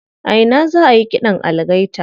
A ina za ayi ƙidan algaita?